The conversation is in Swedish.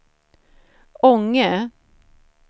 Ånge